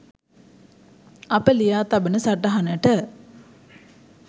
අප ලියා තබන සටහනට